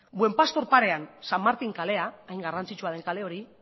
buen pastor parean san martin kalea hain garrantzitsua den kale hori